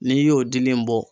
N'i y'o dili in bɔ.